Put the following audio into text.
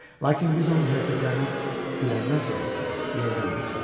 Lakin biz onun hərəkətlərinə güləndən sonra yenidən başladı.